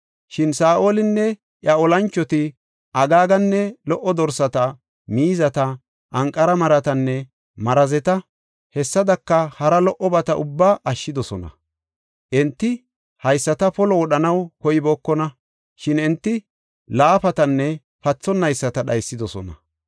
Shin Saa7olinne iya olanchoti, Agaaganne lo77o dorsata, miizata, anqara maratanne marazeta, hessadaka hara lo77obata ubbaa ashshidosona. Enti haysata polo wodhanaw koybookona; shin enti laafatanne pathonayisata dhaysidosona.